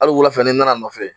Ali wulafɛ ni nan'a nɔfɛ